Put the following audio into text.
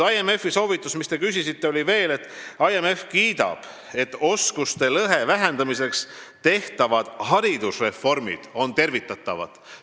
Veel, IMF kiidab oskuste lõhe vähendamiseks tehtavad haridusreforme, need on tervitatavad.